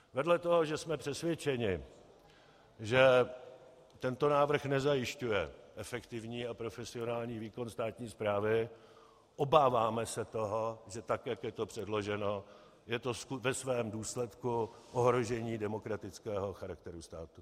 Vedle toho, že jsme přesvědčeni, že tento návrh nezajišťuje efektivní a profesionální výkon státní správy, obáváme se toho, že tak jak je to předloženo, je to ve svém důsledku ohrožení demokratického charakteru státu.